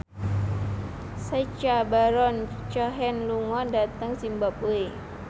Sacha Baron Cohen lunga dhateng zimbabwe